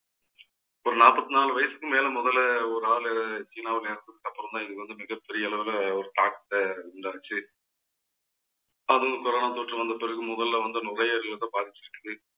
ஒரு நாற்பத்தி நாலு வயசுக்கு மேல முதல்ல ஒரு ஆளு சீனாவு நேரத்துக்கு அப்புறம்தான் இங்க வந்த மிகப்பெரிய அளவுல ஒரு தாக்கத்தை உண்டாச்சு அது corona தொற்று வந்த பிறகு முதல்ல வந்த நுரையீரலைத பாதிச்சிட்டிருக்கு.